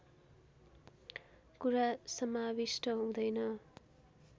कुरा समाविष्ट हुँदैन